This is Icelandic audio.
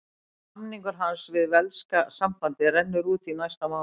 Samningur hans við velska sambandið rennur út í næsta mánuði.